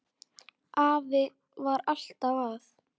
Afi var alltaf að.